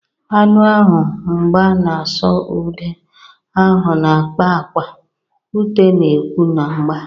Anụ ahụ mgba na-asụ ude, ahụ na-akpa akwa, ute na-ekwu na mgba.